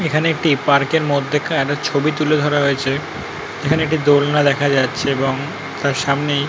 এখানে একটি পার্ক -এর মধ্যে কার ছবি তুলে ধরা হয়েছে। এখানে একটি দোলনা দেখা যাচ্ছে এবং তার সামনেই।